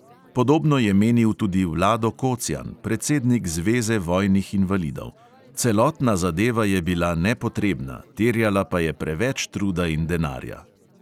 Podobno je menil tudi vlado kocjan, predsednik zveze vojnih invalidov: "celotna zadeva je bila nepotrebna, terjala pa je preveč truda in denarja."